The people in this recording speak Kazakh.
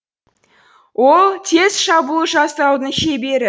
ол тез шабуыл жасаудың шебері